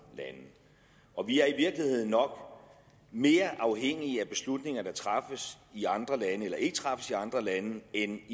lande og vi er i virkeligheden nok mere afhængige af beslutninger der træffes i andre lande eller ikke træffes i andre lande end